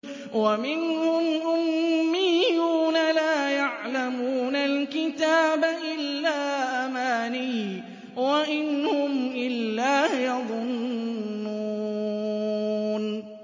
وَمِنْهُمْ أُمِّيُّونَ لَا يَعْلَمُونَ الْكِتَابَ إِلَّا أَمَانِيَّ وَإِنْ هُمْ إِلَّا يَظُنُّونَ